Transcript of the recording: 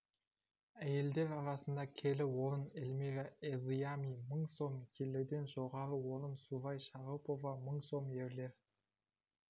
әйелдер арасында келі орын эльмира эзыями мың сом келіден жоғары орын сураи шаропова мың сом ерлер